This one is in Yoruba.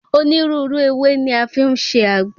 Onírúurú ewé ni a fi ń ṣe àgbo.